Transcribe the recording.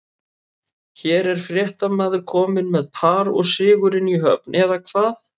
Hér er fréttamaður kominn með par og sigurinn í höfn, eða hvað?